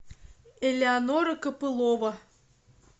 элеонора копылова